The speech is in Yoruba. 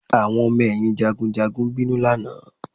Àwọn ọmọ ẹ̀yìn jagunjagun bínú lánàá